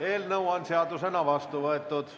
Eelnõu on seadusena vastu võetud.